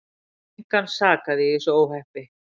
Engan sakaði í þessu óhappi.